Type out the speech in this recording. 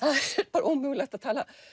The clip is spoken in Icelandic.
bara ómögulegt að